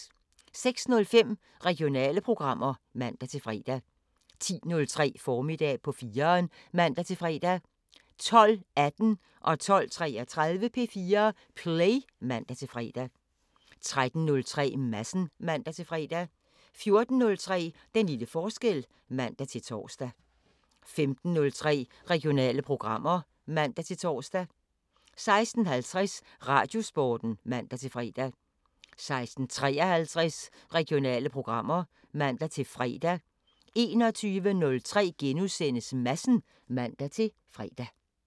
06:05: Regionale programmer (man-fre) 10:03: Formiddag på 4'eren (man-fre) 12:18: P4 Play (man-fre) 12:33: P4 Play (man-fre) 13:03: Madsen (man-fre) 14:03: Den lille forskel (man-tor) 15:03: Regionale programmer (man-tor) 16:50: Radiosporten (man-fre) 16:53: Regionale programmer (man-fre) 21:03: Madsen *(man-fre)